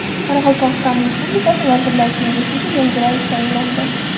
Qoraqalpog‘iston Respublikasi Vazirlar Kengashiga yangi rais tayinlandi.